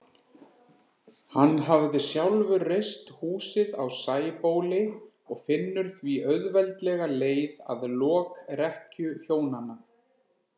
Hann hafði sjálfur reist húsið á Sæbóli og finnur því auðveldlega leið að lokrekkju hjónanna.